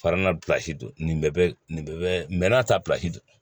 don nin bɛɛ bɛ nin bɛɛ bɛ n'a ta